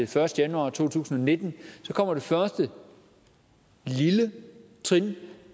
første januar to tusind og nitten så kommer det første lille trin